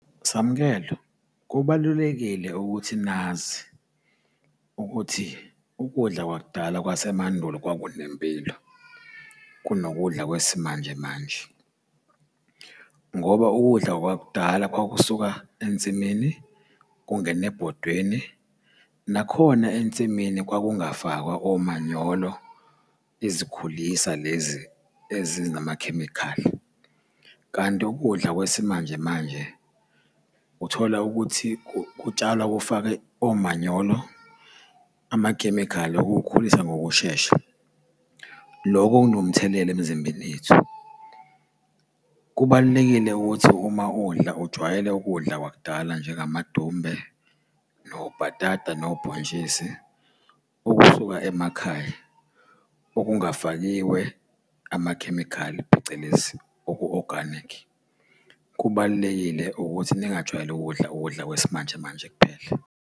Samukelo, kubalulekile ukuthi nazi ukuthi ukudla kwakudala kwasemandulo kwakunempilo kunokudla kwesimanje manje, ngoba ukudla kwakudala kwakusuka ensimini kungene ebhodweni. Nakhona ensimini kwakungafakwa omanyolo izikhulisa lezi ezinamakhemikhali, kanti ukudla kwesimanje manje uthola ukuthi kutshalwa kufakwe omanyolo, amakhemikhali okukhulisa ngokushesha. Loko kunomthelela emzimbeni yethu. Kubalulekile ukuthi uma udla ujwayele ukudla kwakudala njengamadumbe, nobhatata, nobhontshisi, okusuka emakhaya okungafakiwe amakhemikhali phecelezi oku-oganikhi. Kubalulekile ukuthi ningajwayeli ukudla ukudla kwesimanje manje kuphela.